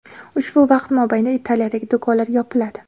ushbu vaqt mobaynida Italiyadagi do‘konlar yopiladi.